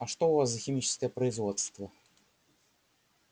а что у вас за химическое производство